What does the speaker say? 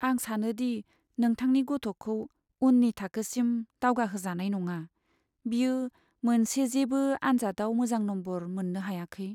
आं सानो दि नोंथांनि गथ'खौ उन्नि थाखोसिम दावगाहोजानाय नङा। बियो मोनसेजेबो आनजादाव मोजां नम्बर मोननो हायाखै।